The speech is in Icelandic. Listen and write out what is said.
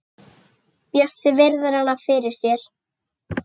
Bjössi virðir hana fyrir sér.